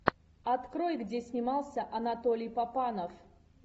открой где снимался анатолий папанов